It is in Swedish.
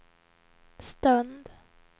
stund